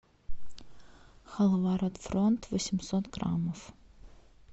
халва рот фронт восемьсот граммов